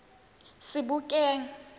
sebokeng